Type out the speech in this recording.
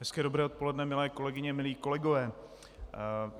Hezké dobré odpoledne, milé kolegyně, milí kolegové.